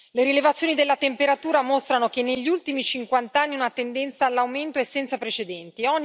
Le rilevazioni della temperatura mostrano che negli ultimi cinquant'anni una tendenza all'aumento è senza precedenti.